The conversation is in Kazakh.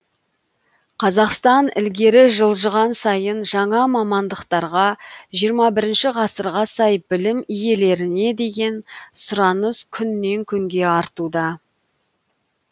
қазақстан ілгері жылжыған сайын жаңа мамандықтарға жиырма бірінші ғасырға сай білім иелеріне деген сұраныс күннен күнге артуда